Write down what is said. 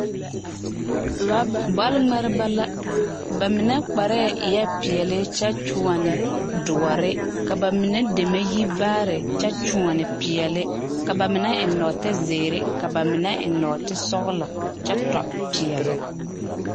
bɔle ŋmeɛrebɛ la ba mine kparɛɛ eɛ peɛle kyɛ kyoɔne doɔre ka bamine deme yi vaare kyɛ kyoɔne peɛle ka bamine eŋ nɔɔte zeere ka ba mine eŋ nɔɔte sɔgelɔ kyɛ tɔ peɛle.